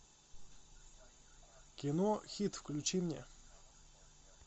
кино хит включи мне